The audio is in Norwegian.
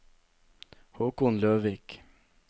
Haakon Løvik